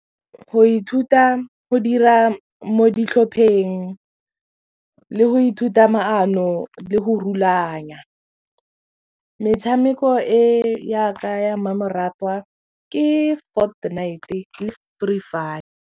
Go ithuta go dira mo ditlhopheng le go ithuta maano le go rulaganya metshameko e ya ka ya mmamoratwa ke Fortnight le Free Fire.